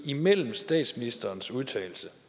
imellem statsministerens udtalelse